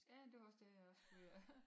Ja det var også det jeg pgså var ved at